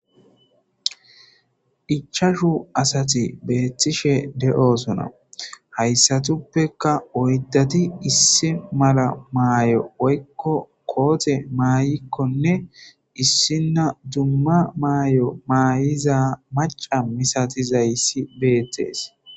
Ichashu asati beettishe de'osona hayssatuppeka oyddati issi mala maayo woykko koote maayikkonne issinna dumma maayo maayiza maca misatizayssi beettees.